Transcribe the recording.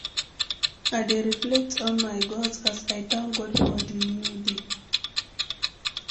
I dey reflect on my goals as I thank God for di new day.